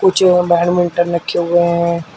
नीचे में बैडमिंटन रखे हुए हैं।